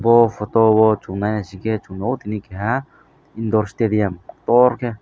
bo photo o chung nai naisikhe chung nuk o tini keha indoor staduim torkhe.